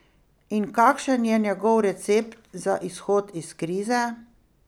In kakšen je njegov recept za izhod iz krize?